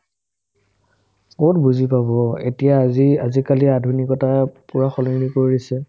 ক'ত বুজি পাব এতিয়া আজি আজিকালি আধুনিকতা পূৰা সলনি কৰি দিছে